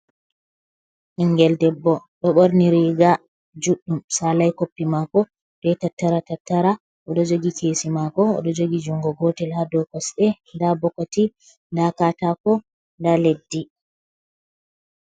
Ɓiingel debbo do borni riga juɗdum salai koppi mako ɗon tattara tattara oɗo jogi kesi mako odo jogi jungo gotel ha do kosɗe da bokoti da katako da leddi.